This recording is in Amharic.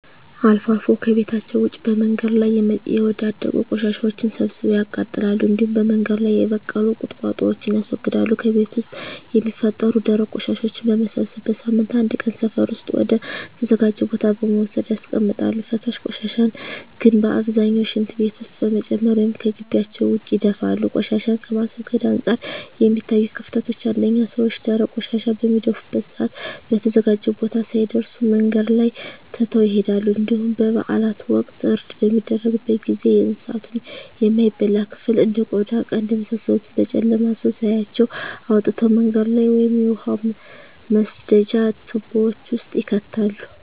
አልፎ አልፎ ከቤታቸዉ ውጭ በመንገድ ላይ የወዳደቁ ቆሻሻወችን ሰብስበው ያቃጥላሉ እንዲሁም በመንገድ ላይ የበቀሉ ቁጥቋጦወችን ያስወግዳሉ። ከቤት ውስጥ የሚፈጠሩ ደረቅ ቆሻሻወችን በመሰብሰብ በሳምንት አንድ ቀን ሰፈር ውስጥ ወደ ተዘጋጀ ቦታ በመውሰድ ያስቀምጣሉ። ፈሳሽ ቆሻሻን ግን በአብዛኛው ሽንት ቤት ውስጥ በመጨመር ወይም ከጊቢያቸው ውጭ ይደፋሉ። ቆሻሻን ከማስወገድ አንፃር የሚታዩት ክፍተቶች አንደኛ ሰወች ደረቅ ቆሻሻን በሚደፉበት ሰአት በተዘጋጀው ቦታ ሳይደርሱ መንገድ ላይ ትተው ይሄዳሉ እንዲሁም በበአላት ወቅት እርድ በሚደረግበት ጊዜ የእንሳቱን የማይበላ ክፍል እንደ ቆዳ ቀንድ የመሳሰሉትን በጨለማ ሰው ሳያያቸው አውጥተው መንገድ ላይ ወይም የውሃ መስደጃ ትቦወች ውስጥ ይከታሉ።